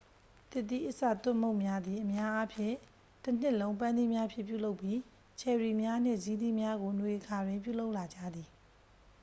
သစ်သီးအစာသွပ်မုန့်များသည် အများအားဖြင့် တစ်နှစ်လုံး ပန်းသီးများဖြင့် ပြုလုပ်ပြီး ချယ်ရီများနှင့်ဇီးသီးများကို နွေအခါတွင် ပြုလုပ်လာကြသည်